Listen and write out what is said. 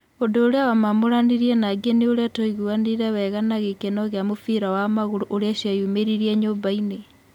Ũndũ ũrĩa wamamũranirie na angĩ nĩ ũrĩa twaiguanire wega na gĩkeno gĩa mũbira wa magũrũ ũrĩa cĩeyumĩririe nyũmbainĩ.